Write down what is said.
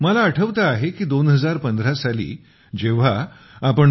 मला आठवते आहे की 2015 साली जेव्हा आपण डॉ